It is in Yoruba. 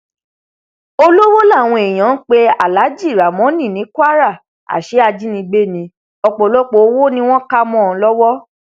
olówó làwọn èèyàn ń pe aláàjì ramónì ní kwara àṣẹ ajínigbé ní ọpọlọpọ owó ni wọn kà mọ ọn lọwọ